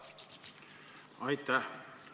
Aitäh!